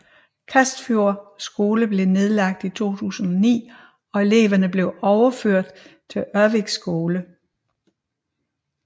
Kasfjord skole blev nedlagt i 2009 og eleverne blev overført til Ervik skole